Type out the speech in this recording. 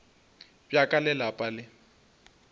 bja ka le lapa le